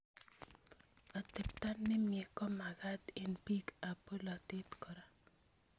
Atepto nemye komakat eng' polatet kora